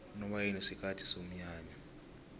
unobayeni sikhathi somnyanya